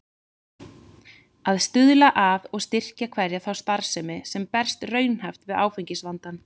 Að stuðla að og styrkja hverja þá starfsemi, sem berst raunhæft við áfengisvandann.